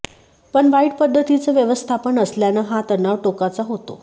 पण वाईट पद्धतीचं व्यवस्थापन असल्यानं हा तणाव टोकाचा होतो